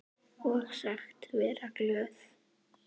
Og sagst vera glöð.